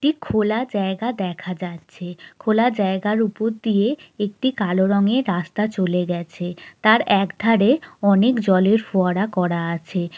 একটি খোলা জায়গা দেখা যাচ্ছে খোলা জায়গার উপর দিয়ে একটি কালো রঙের রাস্তা চলে গেছে তার একধারে অনেক জলের ফোয়ারা করা আছে